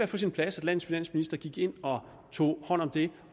på sin plads at landets finansminister gik ind og tog hånd om det